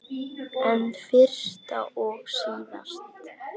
En fyrst og síðast.